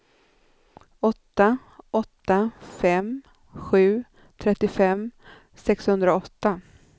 åtta åtta fem sju trettiofem sexhundraåtta